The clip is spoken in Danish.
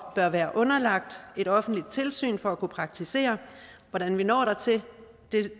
er underlagt et offentligt tilsyn for at kunne praktisere hvordan vi når dertil